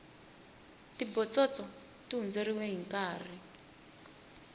tibotsotso ti hundzeriwe hinkarhi